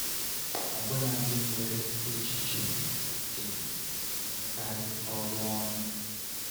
Ọbụna ndị nwere echiche dị iche na-emekarị ọrụ ọnụ.